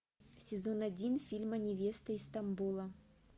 сезон один фильма невеста из стамбула